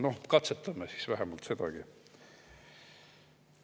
Noh, katsetame siis vähemalt sedagi.